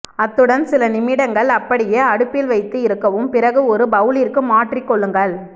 அத்துடன் சில நிமிடங்கள் அப்படியே அடுப்பில் வைத்து இருக்கவும் பிறகு ஒரு பெளலிற்கு மாற்றி கொள்ளுங்கள்